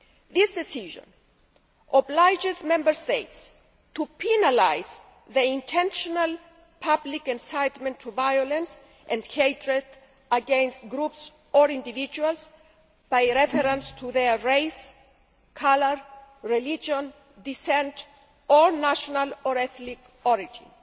This Decision obliges Member States to penalise the intentional public incitement to violence and hatred against groups or individuals by reference to their race, colour, religion, descent or national or ethnic origin.